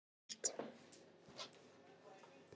Líf úr engu gert.